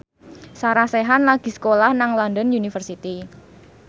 Sarah Sechan lagi sekolah nang London University